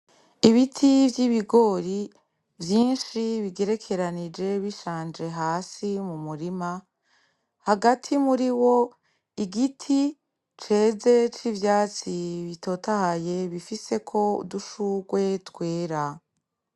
Ibiti vy'ibigori vyinshi bigerekeranije bishanje hasi yo mu murima, hagati muri wo, igiti ceze c'ivyatsi bitotahaye bifiseko udushurwe twera.